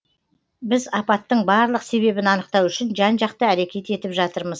біз апаттың барлық себебін анықтау үшін жан жақты әрекет етіп жатырмыз